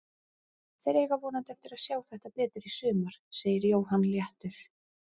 Þeir eiga vonandi eftir að sjá þetta betur í sumar, segir Jóhann léttur.